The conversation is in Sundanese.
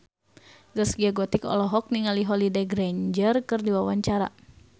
Zaskia Gotik olohok ningali Holliday Grainger keur diwawancara